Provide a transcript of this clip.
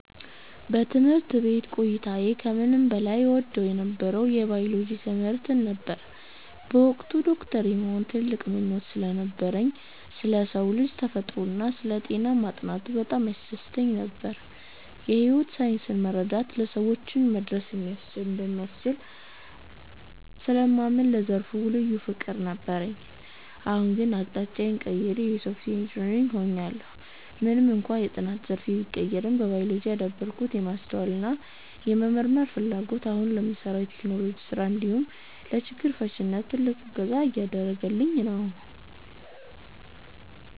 በትምህርት ቤት ቆይታዬ ከምንም በላይ እወደው የነበረው የባዮሎጂ ትምህርትን ነበር። በወቅቱ ዶክተር የመሆን ትልቅ ምኞት ስለነበረኝ፣ ስለ ሰው ልጅ ተፈጥሮና ስለ ጤና ማጥናቱ በጣም ያስደስተኝ ነበር። የሕይወት ሳይንስን መረዳት ለሰዎች መድረስ እንደሚያስችል ስለማምን ለዘርፉ ልዩ ፍቅር ነበረኝ። አሁን ግን አቅጣጫዬን ቀይሬ የሶፍትዌር ኢንጂነር ሆኛለሁ። ምንም እንኳን የጥናት ዘርፌ ቢቀየርም፣ በባዮሎጂ ያዳበርኩት የማስተዋልና የመመርመር ፍላጎት አሁን ለምሠራው የቴክኖሎጂ ሥራ እንዲሁም ለችግር ፈቺነት ትልቅ እገዛ እያደረገኝ ነው።